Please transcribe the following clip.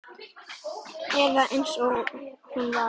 Eða eins og hún var.